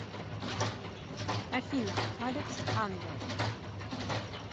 афина алекс ангел